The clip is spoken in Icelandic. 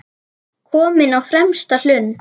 Kominn á fremsta hlunn.